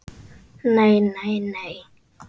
NEI, NEI, NEI.